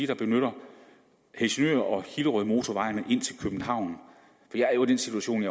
der benytter helsingør og hillerødmotorvejen ind til københavn jeg er jo i den situation